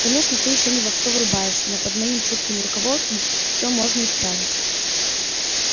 конечно ты ещё не во все врубаешься но под моим чутким руководством все можно исправить